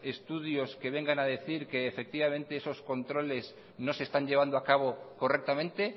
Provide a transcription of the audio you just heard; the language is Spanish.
estudios que vengan a decir que efectivamente eso controles no se están llevando a cabo correctamente